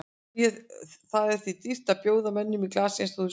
Það er því dýrt að bjóða mönnum í glas eins og þú sérð.